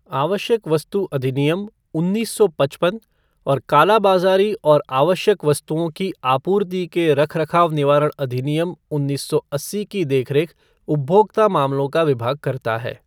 आवश्यक वस्तु अधिनियम, उन्नीस सौ पचप्न और कालाबाजारी और आवश्यक वस्तुओं की आपूर्ति के रखरखाव निवारण अधिनियम, उन्नीस सौ अस्सी की देखरेख उपभोक्ता मामलों का विभाग करता है।